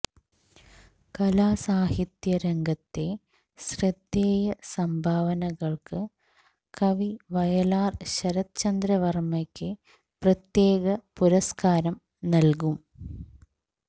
കലാസാഹിത്യ രംഗത്തെ ശ്രദ്ധേയ സംഭാവനകള്ക്ക് കവി വയലാര് ശരത്ചന്ദ്ര വര്മയ്ക്ക് പ്രത്യേക പുരസ്കാരം നല്കും